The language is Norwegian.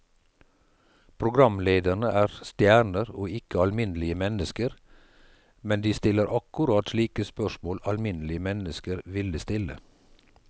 Programlederne er stjerner og ikke alminnelige mennesker, men de stiller akkurat slike spørsmål alminnelige mennesker ville stille.